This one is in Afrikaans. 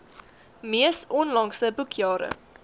mees onlangse boekjare